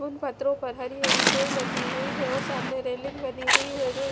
उन पथरो पर हरी हरी चोई लगी हुई है और सामने रेलिंग बनी हुई है जोई--